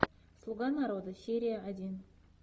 слуга народа серия один